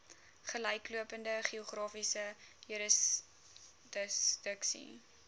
gelyklopende geografiese jurisdiksie